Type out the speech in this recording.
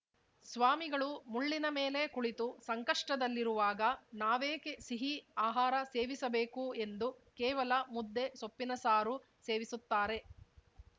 ಸ್ವಾಮಿಗಳು ಮುಳ್ಳಿನ ಮೇಲೆ ಕುಳಿತು ಸಂಕಷ್ಟದಲ್ಲಿರುವಾಗ ನಾವೇಕೆ ಸಿಹಿ ಆಹಾರ ಸೇವಿಸಬೇಕು ಎಂದು ಕೇವಲ ಮುದ್ದೆ ಸೊಪ್ಪಿನ ಸಾರು ಸೇವಿಸುತ್ತಾರೆ